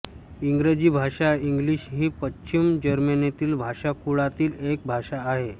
इंग्रजी भाषा इंग्लिश ही पश्चिम जर्मेनिक भाषाकुळातील एक भाषा आहे